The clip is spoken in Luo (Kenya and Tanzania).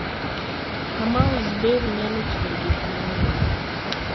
Kamau's berry nyalo ting'o gik mang'eny